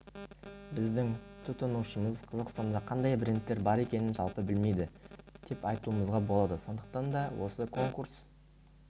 біздің тұтынушымыз қазақстанда қандай брендтер бар екенін жалпы білмейді деп айтуымызға болады сондықтан да осы конкурс